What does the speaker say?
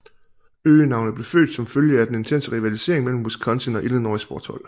Øgenavnet blev født som følge af den intense rivalisering mellem Wisconsin og Illinois sportshold